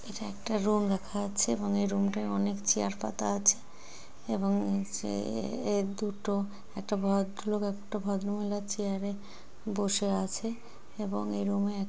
এটা একটা রোম দেখা যাচ্ছে এবং এই রুম টায় অনেক চেয়ার পাতা আছে এবং নীচে-এ-এ দুটো একটা ভদ্রলোক একটা ভদ্রমহিলা চেয়ার এ বসে আছে এবং এই রুম এ--